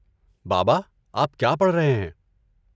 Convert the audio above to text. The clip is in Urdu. بابا، آپ کیا پڑھ رہے ہیں؟